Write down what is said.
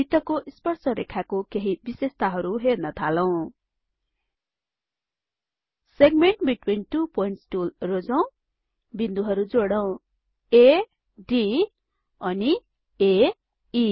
वृत्तको स्पर्स रेखाको केहि विशेषताहरु हेर्न थालौं segment between two points tool रोजौं बिन्दुहरु जोडौं आ D अनि आ ए